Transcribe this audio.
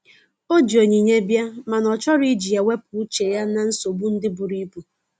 O ji onyinye bia, mana ọ chọrọ iji ya wepụ uche ya na nsogbo ndi buru ibụ.